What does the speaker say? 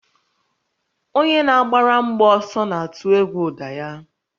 Onye na-agbara mgbọ ọsọ na-atụ egwu ụda ya